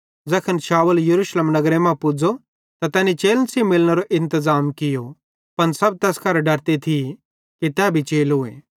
ज़ैखन शाऊल यरूशलेम नगरे मां पुज़ो त तैनी चेलन सेइं मिलनेरो इंतज़ाम कियो पन सब तैस करां डरते थी कि तै भी चेलोए